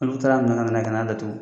Olu taara minɛ ka na n'a ye ka n'a datuun.